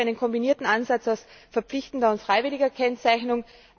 Hier bin ich für einen kombinierten Ansatz aus verpflichtender und freiwilliger Kennzeichnung.